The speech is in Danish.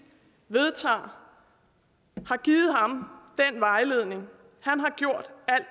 vedtager har givet ham den vejledning